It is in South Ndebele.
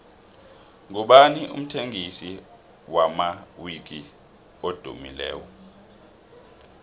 ngubani umthengisi wamawiki edumileko